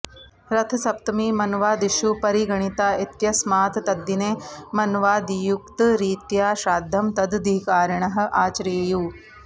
रथसप्तमी मन्वादिषु परिगणिता इत्यस्मात् तद्दिने मन्वादियुक्तरीत्या श्राद्धं तदधिकारिणः आचरेयुः